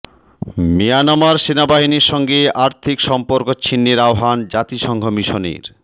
Myanmar সেনাবাহিনীর সঙ্গে আর্থিক সম্পর্ক ছিন্নের আহ্বান জাতিসংঘ মিশনের